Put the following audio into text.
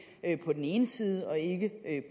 på den ene side og ikke